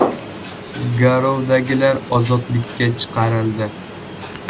Garovdagilar ozodlikka chiqarildi.